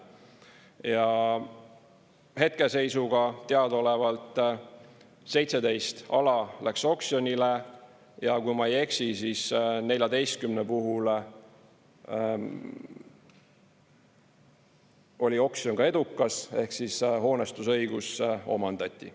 Ja hetkeseisuga teadaolevalt 17 ala läks oksjonile ja kui ma ei eksi, siis 14 puhul oli oksjon edukas ehk siis hoonestusõigus omandati.